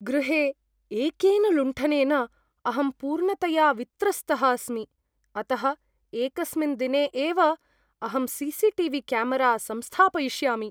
गृहे एकेन लुण्ठनेन अहं पूर्णतया वित्रस्तः अस्मि, अतः एकस्मिन् दिने एव अहं सी.सी.टी.वी. क्यामरा संस्थापयिष्यामि।